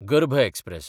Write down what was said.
गर्भ एक्सप्रॅस